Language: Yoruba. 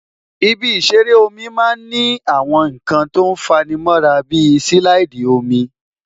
Ibi ìṣeré omi máa ń ní àwọn nǹkan tó fa'ni mọ́ra bí silaidi omi